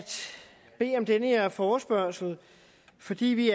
bede om den her forespørgselsdebat fordi vi